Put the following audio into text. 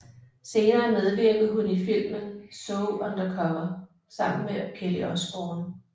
Senere medvirkede hun i filmen So Undercover sammen med Kelly Osbourne